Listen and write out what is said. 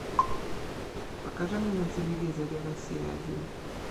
покажи мне на телевизоре россия один